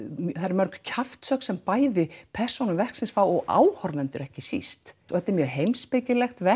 mörg kjaftshögg sem bæði persónur verksins fá og áhorfendur ekki síst og þetta er mjög heimspekilegt verk